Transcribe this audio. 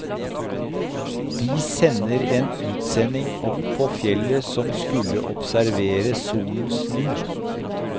De sender en utsending opp på fjellet som skulle observere solen snu.